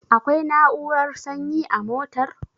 Akwai na'urar sanyi a motar?